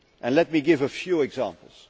Let me give a few examples.